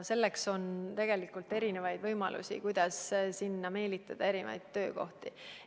Selleks on tegelikult erinevaid võimalusi, kuidas sinna meelitada erinevaid töökohti.